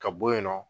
Ka bɔ yen nɔ